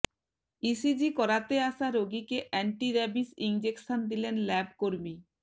ECG করাতে আসা রোগীকে অ্যান্টি রেবিশ ইঞ্জেকশন দিলেন ল্যাব কর্মী